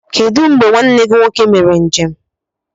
Kedu mgbe nwanne gị nwoke mere njem?